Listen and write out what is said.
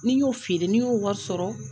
Ni n y'o feere ni n y'o wari sɔrɔ.